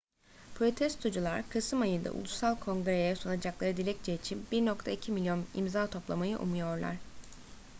protestocular kasım ayında ulusal kongre'ye sunacakları dilekçe için 1,2 milyon imza toplamayı umuyorlar